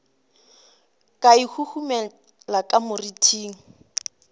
ka e huhumela ka moriting